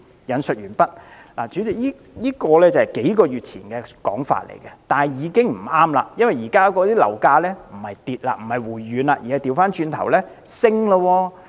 "代理主席，這是數個月前的說法，現在已經不再適用了，因為現時樓價並沒有下跌、回軟，反而開始向上升。